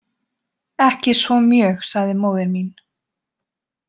Ekki svo mjög, sagði móðir mín.